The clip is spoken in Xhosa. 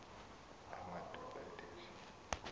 amadoda ethe tsi